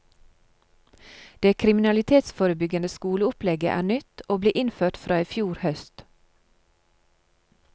Det kriminalitetsforebyggende skoleopplegget er nytt og ble innført fra i fjor høst.